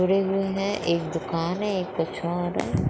खड़े हुए है एक दुकान है एक कुछ और है।